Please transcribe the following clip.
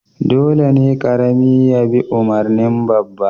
Dole ne karami ya bi umarnin babba